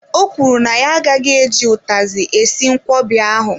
O kwuru na ya agaghị eji utazi esi nkwobi ahụ.